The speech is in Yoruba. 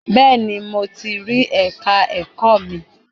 Bẹ́ẹ̀ni mo ti rí ẹ̀ka ẹ̀kọ́ mi.